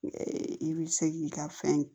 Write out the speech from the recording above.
I bɛ se k'i ka fɛn